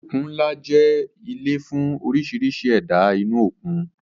Òkun ńlá jẹ́ ilé fún oríṣiríṣi ẹ̀dá inú òkun